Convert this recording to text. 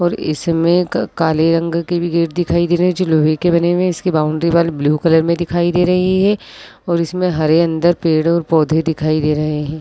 और इसमें क- काले रंग के भी गेट दिखाई दे रहे है जो लोहे के बने हुए है। इसकी बाउंड्री वाल ब्लू कलर में दिखाई दे रही है और इसमें हरे अंदर पेड़ और पौधे दिखाई दे रहे है।